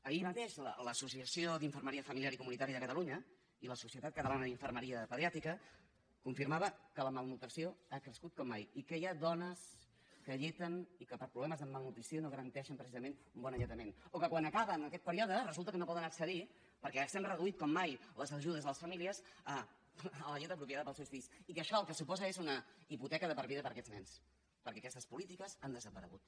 ahir mateix l’associació d’infermeria familiar i comunitària de catalunya i la societat catalana d’infermeria pediàtrica confirmaven que la malnutrició ha crescut com mai i que hi ha dones que alleten i que per problemes de malnutrició no garanteixen precisament un bon alletament o que quan acaben aquest període resulta que no poden accedir perquè s’han reduït com mai les ajudes a les famílies a la llet apropiada per als seus fills i que això el que suposa és una hipoteca de per vida d’aquests nens perquè aquestes polítiques han desaparegut